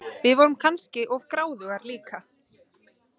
Við vorum kannski of gráðugar líka.